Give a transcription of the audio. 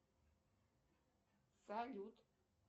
салют